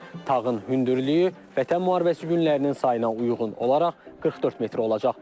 Tağın hündürlüyü Vətən müharibəsi günlərinin sayına uyğun olaraq 44 metr olacaq.